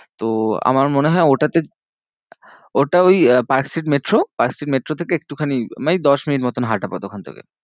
তো আমার মনে হয় ওটাতে, ওটা ওই আহ পার্কস্ট্রিট মেট্রো, পার্কস্ট্রিট মেট্রো থেকে একটুখানি মানে দশ মিনিট মতন হাঁটা পথ ওখান থেকে।